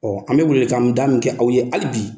an bi wele welekan da min kɛ, aw ye hali bi